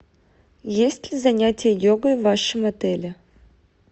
есть ли занятия йогой в вашем отеле